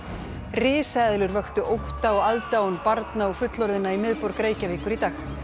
risaeðlur vöktu ótta og aðdáun barna og fullorðinna í miðborg Reykjavíkur í dag